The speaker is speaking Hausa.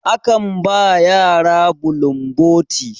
akan ba yara bulun boti